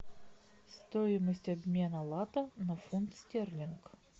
стоимость обмена лата на фунт стерлинг